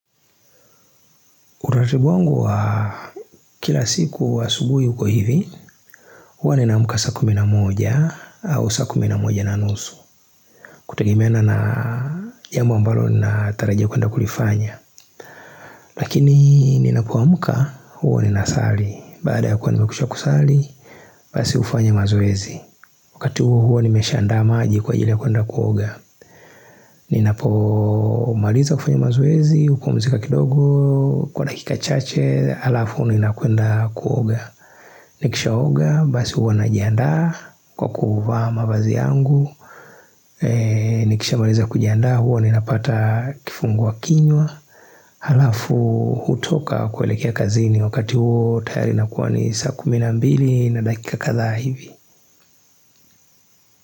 Uratibu wangu wa kila siku wa asubuhi uko hivi, huwa ninaamka saa kumi na moja au saa kumi na moja na nusu. Kutegemeana na jambu ambalo natarajia kwenda kulifanya. Lakini ninapo amka, huwa ninasali. Bazda ya kuwa nimekwisha kusali, basi ufanya mazoezi. Wakati huo huo nimesha andaa maji kwa ajili ya kuenda kuoga. Ninapomaliza kufanya mazoezi, hupumzika kidogo, kwa dakika chache, alafu ninakwenda kuoga. Nikishaoga basi huwa najiandaa kwa kuvaa mavazi yangu Nikisha maliza kujiandaa huwa ni napata kifungua kinywa Halafu hutoka kuelekea kazini wakati huo tayari nakuwa ni saa kumi na mbili na dakika kadhaa hivi.